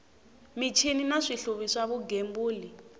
michini na swihluvi swa vugembuli